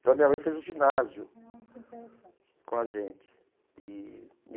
Então, a minha mãe fez o ginásio com a gente e.